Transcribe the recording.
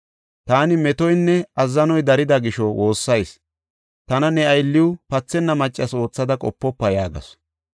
Taani metoynne azzanoy darida gisho woossayis. Tana ne aylliw pathenna maccas oothada qopofa” yaagasu.